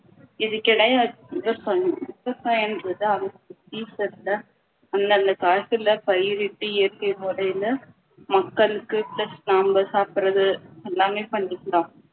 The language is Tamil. இதற்கு இணையா விவசாயம் விவசாயன்றது தான் season ல அந்தந்த காலத்துல பயிரிட்டு இயற்கை முறையில மக்களுக்கு plus நம்ம சாப்பிடுறது எல்லாமே பண்ணிக்கலாம்